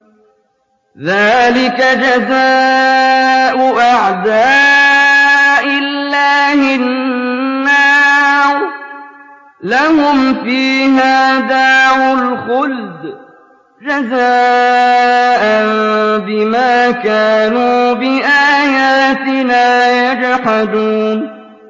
ذَٰلِكَ جَزَاءُ أَعْدَاءِ اللَّهِ النَّارُ ۖ لَهُمْ فِيهَا دَارُ الْخُلْدِ ۖ جَزَاءً بِمَا كَانُوا بِآيَاتِنَا يَجْحَدُونَ